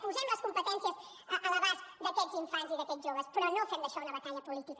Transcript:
posem les competències a l’abast d’aquests infants i d’aquests joves però no fem d’això una batalla política